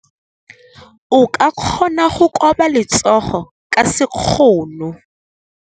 O ka kgona go koba letsogo ka sekgono.